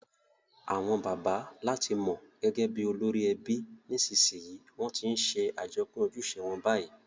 Àwon bàbá làti mo gẹ́gẹ́ bi olórí ebi, nìsnsìnyí won ti n se àjopín ojúse won bayi